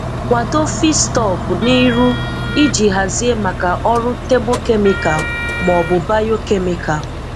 Kwadoo feedstock n'iru iji hazié maka ọrụ thermochemical ma ọ bụ biochemical.